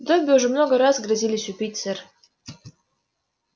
добби уже много раз грозились убить сэр